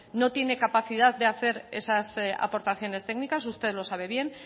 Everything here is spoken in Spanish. no tiene capacidad de hacer esas aportaciones técnicas usted lo sabe bien